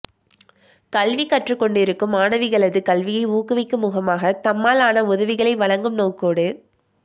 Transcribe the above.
கல்விகற்றுக்கொண்டிருக்கும் மாணவிகளது கல்வியை ஊக்குவிக்கும் முகமாக தம்மால் ஆன உதவிகளை வழங்கும் நோக்கோடு